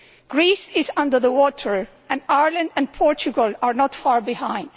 Greece is under the water and Ireland and Portugal are not far behind.